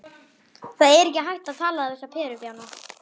Það er ekki hægt að tala við þessa perubjána.